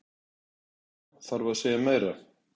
Ég meina, þarf að segja meira?